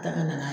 Ka na